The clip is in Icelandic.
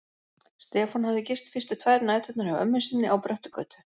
Stefán hafði gist fyrstu tvær næturnar hjá ömmu sinni á Bröttugötu.